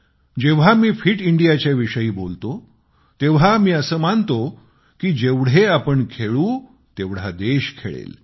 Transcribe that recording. जेव्हा मी fit India च्या विषयी बोलतो तेव्हा असे मानतो कि जेवढे आपण खेळू तेवढा देश खेळेल